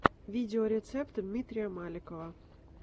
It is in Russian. видеорецепт дмитрия маликова